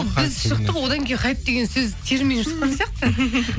біз шықтық одан кейін хайп деген сөз термин шыққан сияқты